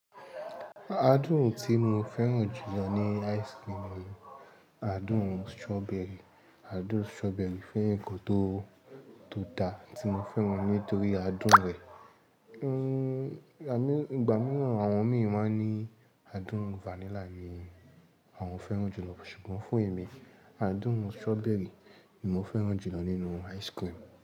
Àádùn tí mo fẹ́ràn jùlọ ní ice cream ni àádùn strawberry. Àádùn strawberry fún ǹkò tó, tó dá tí mo fẹ́ràn nítorí àádùn rẹ̀. Ehn, à mí, ìgbà mìíràn àwọn mi máa ń ní àádùn vanilla ni àwọn fẹ́ràn jùlọ. Ṣùgbọ́n fún èmi, àádùn strawberry ni mo fẹ́ràn jùlọ nínú ice cream.